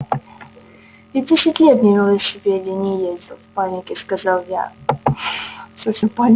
я десять лет на велосипеде не ездил в панике сказал я